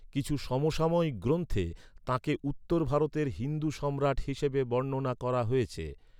কিছু সমসাময়িক গ্রন্থে, তাঁকে উত্তর ভারতের হিন্দু সম্রাট হিসেবে বর্ণনা করা হয়েছে।